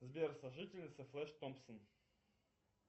сбер сожительница флэш томпсон